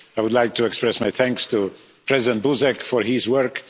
I would like to express my thanks to President Buzek for his work.